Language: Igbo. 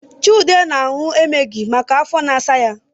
Chude na-aṅù emgili maka afọ na-asa ya